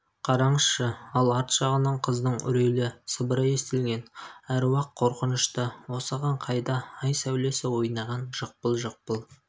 қараңызшы ал арт жағынан қыздың үрейлі сыбыры естілгн аруақ қорқынышты осыған қайда ай сәулесі ойнаған жықпыл-жықпыл